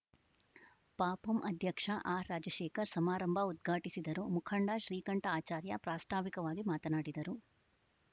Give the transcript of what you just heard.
ಪಪಂ ಅಧ್ಯಕ್ಷ ಆರ್‌ರಾಜಶೇಖರ್‌ ಸಮಾರಂಭ ಉದ್ಘಾಟಿಸಿದರು ಮುಖಂಡ ಶ್ರೀಕಂಠ ಆಚಾರ್ಯ ಪ್ರಾಸ್ತಾವಿಕವಾಗಿ ಮಾತನಾಡಿದರು